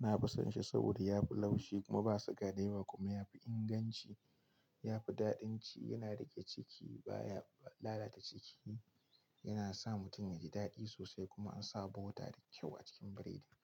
Na fi son shi saboda yafi laushi, kuma ba suga da yawa kuma yafi inganci, yafi daɗin ci yana riƙe ciki baya lalata ciki. Yana sa mutum yaji daɗi sosai, kuma an sawa bota da kyau a cikin biredin.